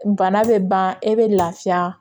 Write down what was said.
Bana bɛ ban e bɛ lafiya